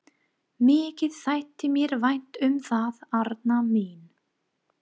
Mikið þætti mér vænt um það, Arnar minn!